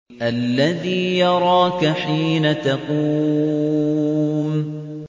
الَّذِي يَرَاكَ حِينَ تَقُومُ